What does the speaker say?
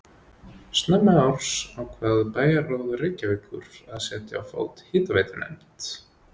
Snemma árs ákvað bæjarráð Reykjavíkur að setja á fót hitaveitunefnd.